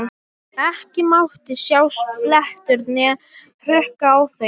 Ekki mátti sjást blettur né hrukka á þeim.